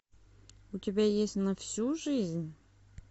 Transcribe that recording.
у тебя есть на всю жизнь